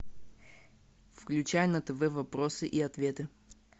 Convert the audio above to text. включай на тв вопросы и ответы